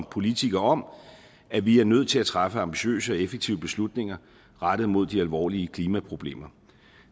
politikere om at vi er nødt til at træffe ambitiøse og effektive beslutninger rettet mod de alvorlige klimaproblemer